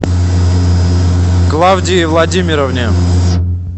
клавдии владимировне